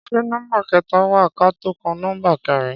Ṣé nọmba kẹta wa kátó kan nọmba kẹrin?